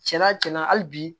Cɛnna cɛn na hali bi